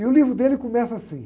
E o livro dele começa assim.